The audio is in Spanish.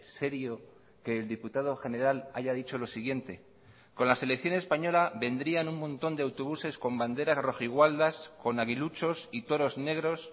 serio que el diputado general haya dicho lo siguiente con la selección española vendrían un montón de autobuses con banderas rojigualdas con aguiluchos y toros negros